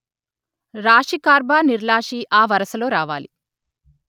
రాశికార్బనిర్లాశి ఆ వరసలో రావాలి